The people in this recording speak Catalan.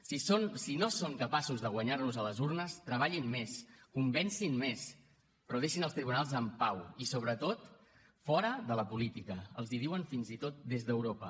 si no són capaços de guanyar nos a les urnes treballin més convencin més però deixin els tribunals en pau i sobretot fora de la política els ho diuen fins i tot des d’europa